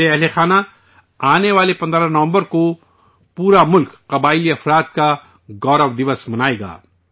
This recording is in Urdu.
میرے ہم وطنو، آنے والے 15 نومبر کو پورا ملک جن جاتیہ گورو دیوس منائے گا